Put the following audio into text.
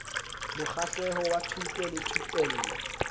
mokgahlelo wa thuto le thupello